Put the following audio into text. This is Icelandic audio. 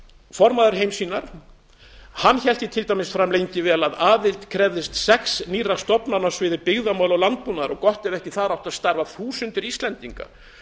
formaður heimssýnar hélt því til dæmis fram lengi vel að aðild krefðist sex nýrra stofnana á sviði byggðamála og landbúnaðar gott ef þar áttu ekki að starfa þúsundir íslendinga